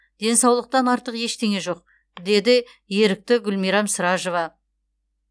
денсаулықтан артық ештеңе жоқ деді ерікті гүлмирам сражова